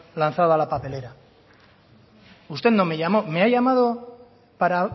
lanzada a la papelera usted no me llamó me ha llamado para